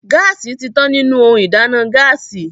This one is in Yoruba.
Gáàsì ti tán nínú ohun ìdáná Gáàsì